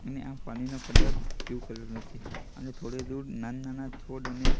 અને આ પાણીનો કલર બ્લુ કલર નથી અને થોડી દૂર નાના નાના છોડ અને--